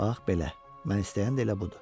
Bax belə, mən istəyən də elə budur.